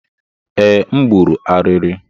Ee, m gburu ariri